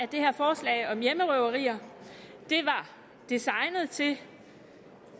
det her forslag om hjemmerøverier var designet til